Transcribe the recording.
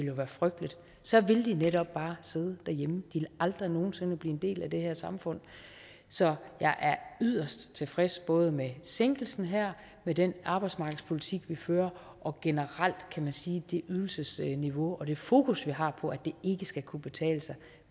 jo være frygteligt så ville de netop bare sidde derhjemme ville aldrig nogen sinde blive en del af det her samfund så jeg er yderst tilfreds både med sænkelsen her med den arbejdsmarkedspolitik vi fører og generelt kan man sige det ydelsesniveau og det fokus vi har på at det ikke skal kunne betale sig